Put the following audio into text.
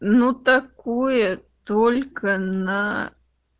ну такое только на